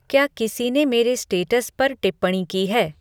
क्या किसी ने मेरे स्टेटस पर टिप्पणी की है